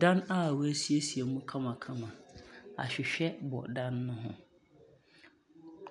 Dan a wɔasiesie mu kamakama. Ahwehwɛ bɔ dan no ho.